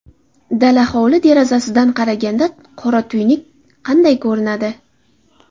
Dala hovli derazasidan qaraganda qora tuynuk qanday ko‘rinadi?